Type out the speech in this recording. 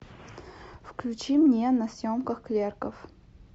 включи мне на съемках клерков